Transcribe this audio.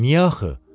Niyə axı?